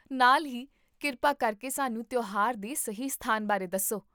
ਨਾਲ ਹੀ, ਕਿਰਪਾ ਕਰਕੇ ਸਾਨੂੰ ਤਿਉਹਾਰ ਦੇ ਸਹੀ ਸਥਾਨ ਬਾਰੇ ਦੱਸੋ